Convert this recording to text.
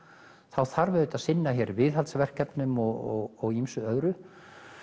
það þarf að sinna hér viðhaldi og ýmsu öðru